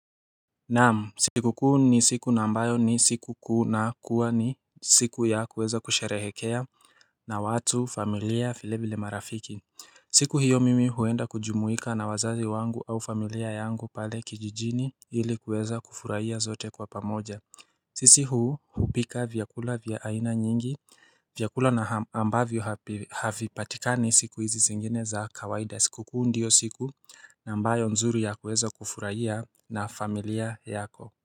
Naam siku kuu ni siku na ambayo ni siku kuu na kuwa ni siku ya kuweza kusherehekea na watu familia vile vile marafiki siku hiyo mimi huenda kujumuika na wazazi wangu au familia yangu pale kijijini ili kuweza kufurahia zote kwa pamoja sisi huu hupika vyakula vyaina nyingi vyakula na ambavyo havi patikani siku hizi zingine za kawaida siku kuu ndiyo siku na ambayo nzuri ya kuweza kufurahia na familia yako.